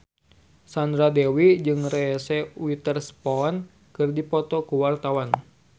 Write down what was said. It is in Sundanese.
Sandra Dewi jeung Reese Witherspoon keur dipoto ku wartawan